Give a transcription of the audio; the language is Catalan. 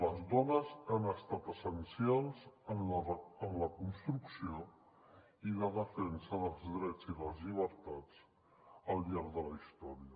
les dones han estat essencials en la construcció i la defensa dels drets i les llibertats al llarg de la història